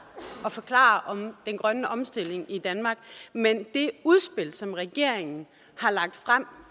og forklarer om den grønne omstilling i danmark men det udspil som regeringen har lagt frem